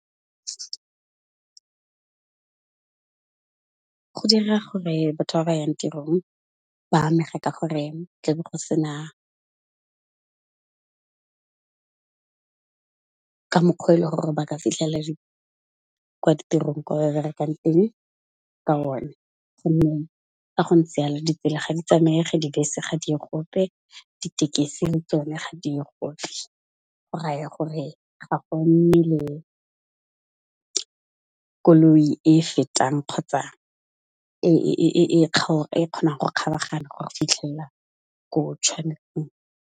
Go dira gore batho ba ba yang tirong ba amega ka gore tla be go sena, ka mokgwa e le gore ba ka fitlhela kwa ditirong kwa ba berekang teng ka one, gonne ga go ntse jalo ditsela ga di tsamayege, dibese ga diye gope, ditekesi le tsone ga diye gope. Go raya gore ga go nne le koloi e fetang kgotsa e kgonang go kgaragana go fitlhella ko e tšhwanetseng.